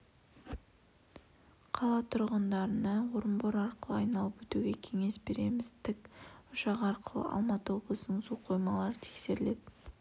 қала тұрғындарына орынбор арқылы айналып өтуге кеңес береміз тік ұшақ арқылы алматы облысының су қоймалары тексеріледі